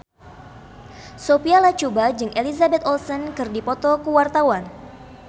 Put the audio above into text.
Sophia Latjuba jeung Elizabeth Olsen keur dipoto ku wartawan